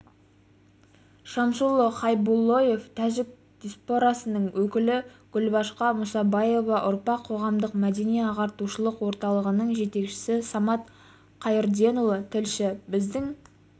шамсулло хайбуллоев тәжік диаспорасының өкілі гүлбақша мұсабаева ұрпақ қоғамдық мәдени-ағартушылық орталығының жетекшісі самат қайырденұлы тілші біздің